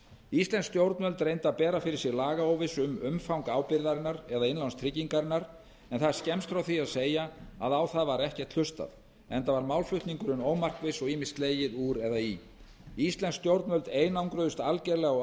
íslensk stjórnvöld reyndu að bera fyrir sig lagaóvissu um umfang ábyrgðarinnar eða innlánstryggingarinnar en það er skemmst frá því að segja að á það var ekki hlustað enda var málflutningurinn ómarkviss og ýmist slegið úr eða í íslensk stjórnvöld einangruðust algerlega á